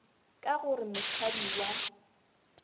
ka go re mohlami wa